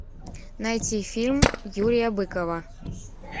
найти фильм юрия быкова